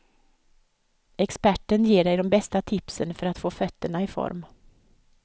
Experten ger dig de bästa tipsen för att få fötterna i form.